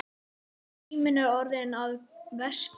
Síminn er orðinn að veski.